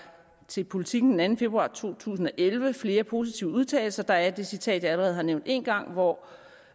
til politiken den anden februar to tusind og elleve flere positive udtalelser der er det citat jeg allerede har nævnt en gang hvor